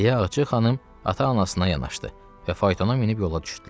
Deyə Ağca xanım ata-anasına yanaşdı və faytona minib yola düşdülər.